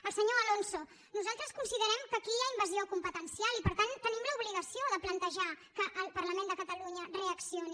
al senyor alonso nosaltres considerem que aquí hi ha invasió competencial i per tant tenim l’obligació de plantejar que el parlament de catalunya reaccioni